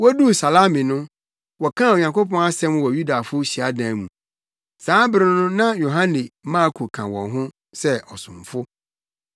Woduu Salami no, wɔkaa Onyankopɔn asɛm wɔ Yudafo hyiadan mu. Saa bere no na Yohane Marko ka wɔn ho sɛ ɔsomfo.